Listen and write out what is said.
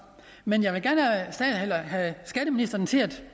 men jeg vil gerne have skatteministeren til at